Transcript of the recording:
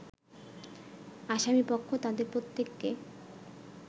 আসামিপক্ষ তাদের প্রত্যেককে